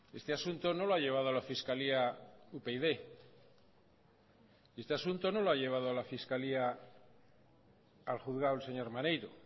este asunto no lo ha llevado a la fiscalía upyd este asunto no lo ha llevado a la fiscalía al juzgado el señor maneiro